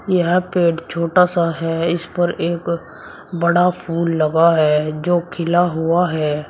यहां पे छोटा सा है इस पर एक बड़ा फूल लगा है जो खिला हुआ है।